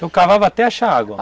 Então cavava até achar água?